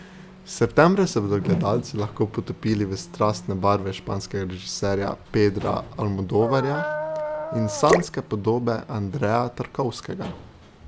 Septembra se bodo gledalci lahko potopili v strastne barve španskega režiserja Pedra Almodovarja in sanjske podobe Andreja Tarkovskega.